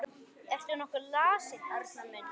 Ertu nokkuð lasinn, Arnar minn?